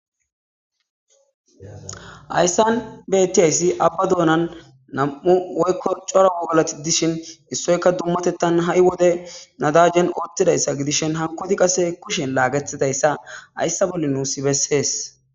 H.ayssan bettiyayssi abba doonan nam7u woykko cora galati dishin issoyka dummatettan ha7i wode nadajen oottidayssa gidishin hakoti qase kushen laagetidayssa hayssa bolli nuus bessees